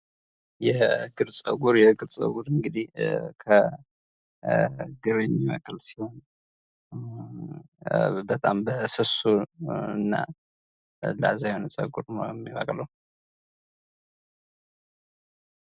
የእግር ፀጉር የእግር ፀጉር እንግዲህ ከእግር የሚነቀል ሲሆን በጣም በስሱ እና ላዛ የሆነ ፀጉር ነው የሚበቅለው።